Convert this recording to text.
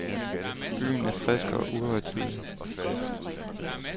Byen er frisk og uhøjtidelig.